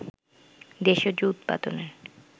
দেশজ উৎপাদনের